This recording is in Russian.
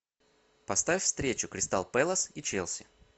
поставь встречу кристал пэлас и челси